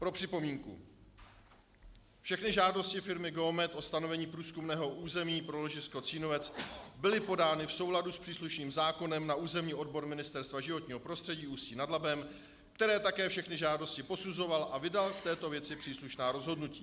Pro připomínku: Všechny žádosti firmy Geomet o stanovení průzkumného území pro ložisko Cínovec byly podány v souladu s příslušným zákonem na územní odbor Ministerstva životního prostředí Ústí nad Labem, který také všechny žádosti posuzoval a vydal v této věci příslušná rozhodnutí.